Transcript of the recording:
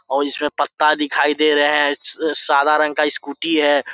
और इसमें पत्ता दिखाई दे रहे हैं श सादा रंग का स्कूटी है।